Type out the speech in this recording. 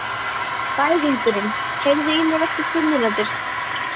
Bæringur, heyrðu í mér eftir fimmtíu mínútur.